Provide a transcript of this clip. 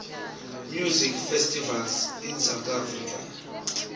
music festivals in south africa